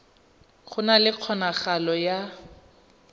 go na le kgonagalo ya